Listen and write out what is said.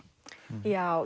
já